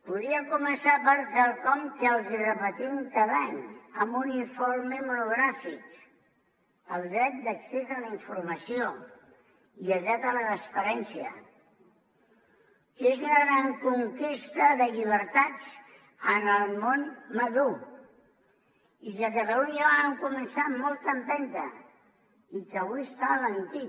podria començar per quelcom que els hi repetim cada any amb un informe monogràfic el dret d’accés a la informació i el dret a la transparència que és una gran conquesta de llibertats en el món madur i que a catalunya vam començar amb molta empenta i que avui està alentit